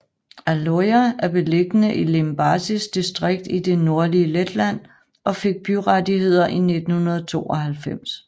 Aloja er beliggende i Limbažis distrikt i det nordlige Letland og fik byrettigheder i 1992